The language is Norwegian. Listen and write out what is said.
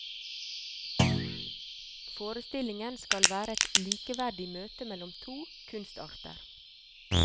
Forestillingen skal være et likeverdig møte mellom to kunstarter.